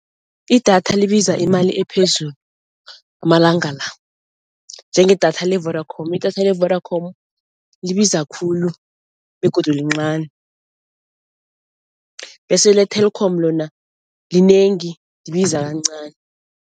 Idatha libiza imali ephezulu amalanga la, njengedatha le-Vodacom. Idatha le-Vodacom libiza khulu begodu lincani bese le-Telkom lona linengi libiza kancani.